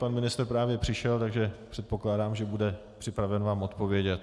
Pan ministr právě přišel, takže předpokládám, že bude připraven vám odpovědět.